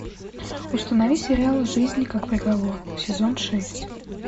установи сериал жизнь как приговор сезон шесть